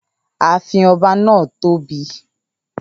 Ààfin ọba náà tóbi